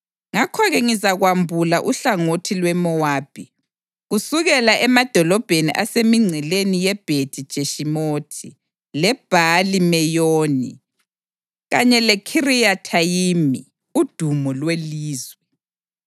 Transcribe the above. ngakho-ke ngizakwambula uhlangothi lweMowabi, kusukela emadolobheni asemingceleni yeBhethi-Jeshimothi, leBhali-Meyoni kanye leKhiriyathayimi, udumo lwelizwe.